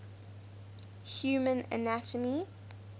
human anatomy